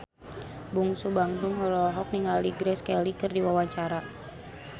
Bungsu Bandung olohok ningali Grace Kelly keur diwawancara